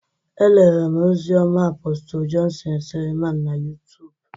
E lerem ozi ọma Apostle Johnson Seleman na YuTub.